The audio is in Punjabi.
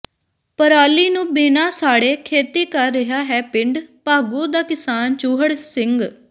ਪਰਾਲੀ ਨੂੰ ਬਿਨਾਂ ਸਾੜੇ ਖੇਤੀ ਕਰ ਰਿਹਾ ਹੈ ਪਿੰਡ ਭਾਗੂ ਦਾ ਕਿਸਾਨ ਚੂਹੜ ਸਿੰਘ